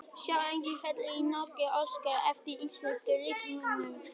Sjá einnig: Félag í Noregi óskar eftir íslenskum leikmönnum